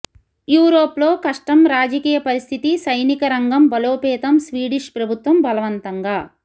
Europe లో కష్టం రాజకీయ పరిస్థితి సైనిక రంగం బలోపేతం స్వీడిష్ ప్రభుత్వం బలవంతంగా